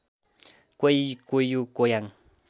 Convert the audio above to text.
कोइ कोयु कोयाङ